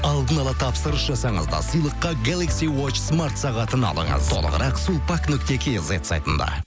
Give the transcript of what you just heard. алдын ала тапсырыс жасаңыз да сыйлыққа гелакси уочсмартсағатын алыңыз толығырақ сулпак нүкте кизет сайтында